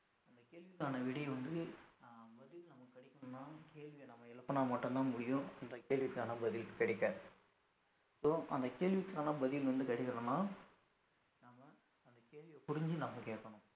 அந்த கேள்விக்கான விடை வந்து அஹ் பதில் நமக்கு கிடைக்கனும்னா கேள்விய நாம எழுப்புனா மட்டும்தான் முடியும் இந்த கேள்விக்கான பதில் கிடைக்க so அந்த கேள்விக்கான பதில் வந்து கிடைக்கணும்னா நாம அந்த கேள்விய புரிஞ்சு நம்ம கேக்கணும்